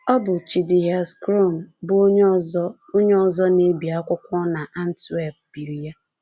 Ọ bụ Chidihias Crom, bụ́ onye ọzọ onye ọzọ na-ebi akwụkwọ n’Antwerp, biri ya